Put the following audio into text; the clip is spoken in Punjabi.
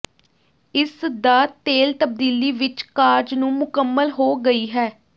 ਇਸ ਦਾ ਤੇਲ ਤਬਦੀਲੀ ਵਿੱਚ ਕਾਰਜ ਨੂੰ ਮੁਕੰਮਲ ਹੋ ਗਈ ਹੈ